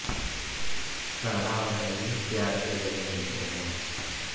सारा और हैरी प्यार से गले मिलते हैं